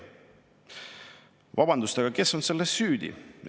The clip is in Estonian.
Vabandust, aga kes on selles süüdi?